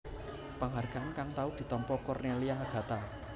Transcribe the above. Penghargaan kang tau ditampa Cornelia Agatha